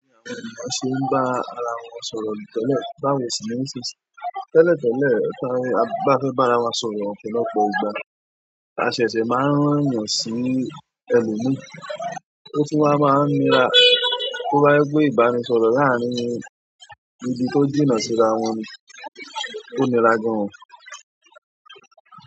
Tẹ́lẹ̀ tẹ́lẹ̀ tí a bá fẹ́ bá ara wa sọ̀rọ̀, ọ̀pọ̀lọpọ̀ ìgbà, a ṣẹ̀ṣẹ̀ máa ń rán'yàn sí ẹlòmíì, ó tún wá máa ń nira. Tó bá jẹ́ pé ìbánisọ̀rọ̀ láàárín ibi tó jìnnà síra wọn ni, ó nira gan-an o.